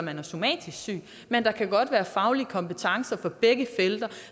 somatisk syg men der kan godt være faglige kompetencer på begge felter